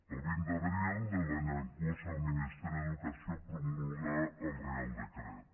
el vint d’abril de l’any en curs el ministeri d’educació promulgà el reial decret